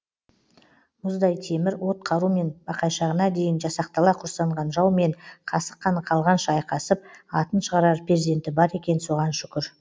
мұздай темір от қарумен бақайшығына дейін жасақтала құрсанған жаумен қасық қаны қалғанша айқасып атын шығарар перзенті бар екен соған шүкір